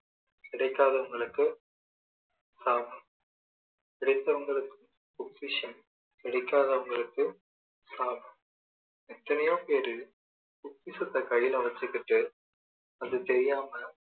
கிடைக்காதவங்களுக்கு சாபம் கிடைத்தவங்களுக்கு பொக்கிஷம் கிடைக்காதவங்களுக்கு சாபம் எத்தனையோ பேரு பொக்கிஷத்தை கையில வச்சிக்கிட்டு அது தெரியாம